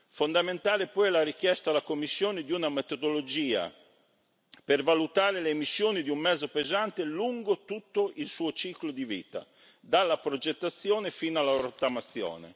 Fondamentale poi è la richiesta alla Commissione di una metodologia per valutare le emissioni di un mezzo pesante lungo tutto il suo ciclo di vita, dalla progettazione fino alla rottamazione.